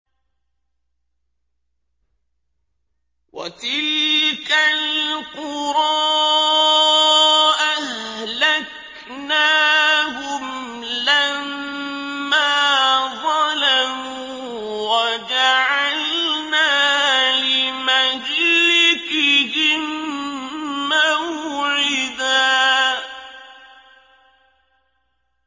وَتِلْكَ الْقُرَىٰ أَهْلَكْنَاهُمْ لَمَّا ظَلَمُوا وَجَعَلْنَا لِمَهْلِكِهِم مَّوْعِدًا